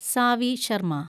Xavi Sharma